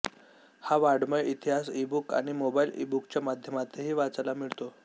हा वाङ्मय इतिहास ईबुक आणि मोबाइल ईबुकच्या माध्यमांतही वाचायला मिळतो